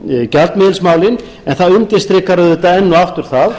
gjaldmiðilsmálin en það undirstrikar auðvitað enn og aftur það